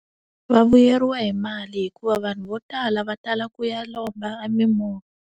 Va vuyeriwa hi mali hikuva vanhu vo tala va tala ku ya lomba a mimovha.